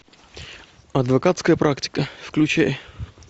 адвокатская практика включай